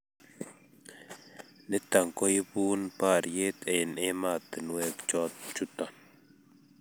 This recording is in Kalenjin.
nito koibun bariet eng ematunuek chuton